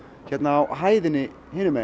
hérna á hæðinni hinum megin